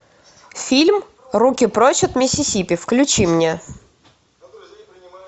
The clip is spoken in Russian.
фильм руки прочь от миссисипи